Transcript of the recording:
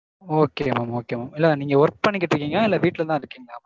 okay mam okay mam. இல்ல நீங்க work பண்ணிக்கிட்டிருக்கீங்களா இல்ல வீட்லதா இருக்கீங்களா?